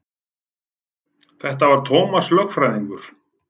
Þetta var Tómas lögfræðingur.